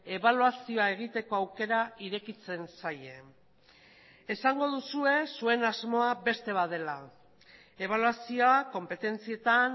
ebaluazioa egiteko aukera irekitzen zaie esango duzue zuen asmoa beste bat dela ebaluazioa konpetentzietan